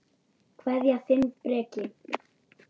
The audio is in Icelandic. Kveðja, þinn Breki.